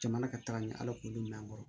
Jamana ka taga ni ala k'olu minɛ an kɔrɔ